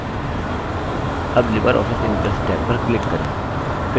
tab libreoffice impress tab पर click करें